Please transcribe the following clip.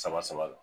Saba saba la